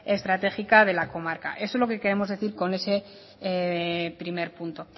estratégica de la comarca eso es lo que queremos decir con ese primer punto